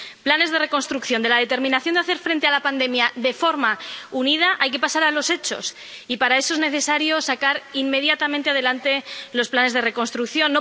Planes de reconstrucción de la determinación de hacer frente a la pandemia de forma unida hay que pasar a los hechos, y para eso es necesario sacar inmediatamente adelante los planes de reconstrucción.